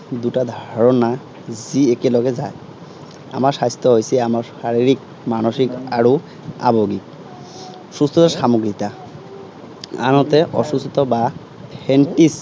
দুটা ধৰণা যি একেলগে যায়। আমাৰ স্বাস্থ্য হৈছে আমাৰ শাৰিৰীক, মানসিক আৰু আবেগিক, সুস্থ সামগ্ৰিকতা। আনহাতে অসুস্থতা বা